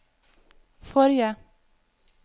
forrige